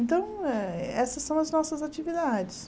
Então, eh essas são as nossas atividades.